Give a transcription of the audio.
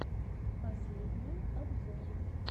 последние обзоры